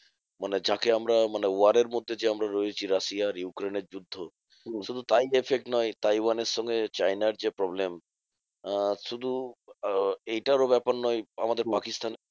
মানে যাকে আমরা মানে war এর মধ্যে যে আমরা রয়েছি রাশিয়া আর ইউক্রেনের যুদ্ধ। শুধু তাই effect নয় তাইওয়ানের সঙ্গে চায়নার যে problem আহ শুধু আহ এইটার ও ব্যাপার নয় আমাদের পাকিস্তানের